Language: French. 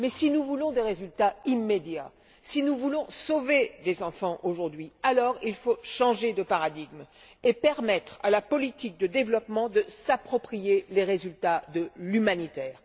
Mais si nous voulons des résultats immédiats, si nous voulons sauver des enfants aujourd'hui, il faut changer de paradigme et permettre à la politique de développement de s'approprier les résultats de l'humanitaire.